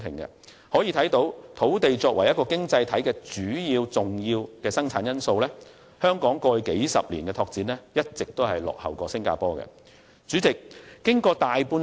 由此可見，雖然土地是一個經濟體的重要生產因素，但香港在過去數十年的拓展卻一直落後於新加坡。